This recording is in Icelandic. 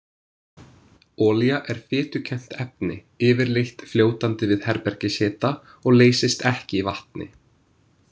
Olía er fitukennt efni, yfirleitt fljótandi við herbergishita og leysist ekki í vatni.